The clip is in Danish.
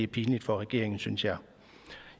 pinligt for regeringen synes jeg